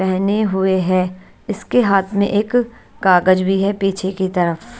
पहने हुए है इसके हाथ में एक कागज भी है पीछे की तरफ।